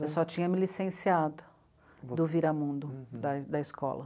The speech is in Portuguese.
Eu só tinha me licenciado do Viramundo, da da escola.